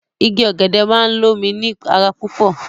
Igi ọ̀gẹ̀dẹ̀ máa ń lomi ni ara lọpọlọpọ